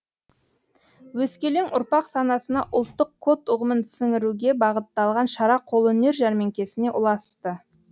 өскелең ұрпақ санасына ұлттық код ұғымын сіңіруге бағытталған шара қолөнер жәрмеңкесіне ұласты